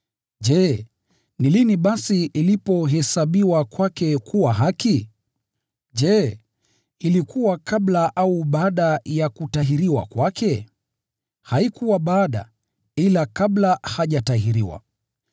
Je, ni lini basi ilipohesabiwa kwake kuwa haki? Je, ilikuwa kabla au baada ya kutahiriwa kwake? Haikuwa baada, ila kabla hajatahiriwa.